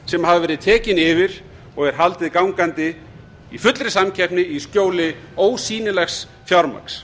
sem hafa verið tekin yfir og er haldið gangandi í fullri samkeppni í skjóli ósýnilegs fjármagns